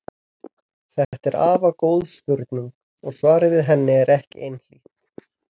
Þetta er afar góð spurning og svarið við henni er ekki einhlítt.